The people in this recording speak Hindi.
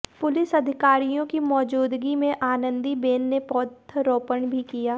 पुलिस अधिकारियों की मौजूदगी में आनंदीबेन ने पौधरोपण भी किया